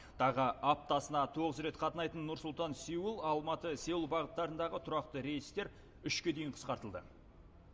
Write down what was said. тағы аптасына тоғыз рет қатынайтын нұр сұлтан сеул алматы сеул бағыттарындағы тұрақты рейстер үшке дейін қысқартылды